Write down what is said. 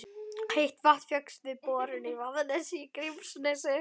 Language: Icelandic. Heitt vatn fékkst við borun í Vaðnesi í Grímsnesi.